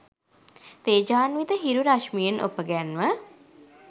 තේජාන්විත හිරු රශ්මියෙන් ඔපගැන්ව